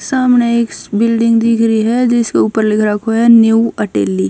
सामणह एक स बिल्डिंग दिख री ह जिसपह लिख राखो ह न्यू अटेली--